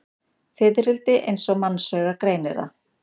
Fiðrildi eins og mannsaugað greinir það.